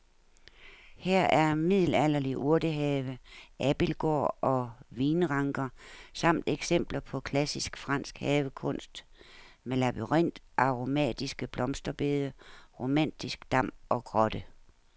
Her er middelalderlig urtehave, abildgård og vinranker samt eksempler på klassisk fransk havekunst med labyrint, aromatiske blomsterbede, romantisk dam og grotte.